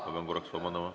Ma pean korraks vabandama.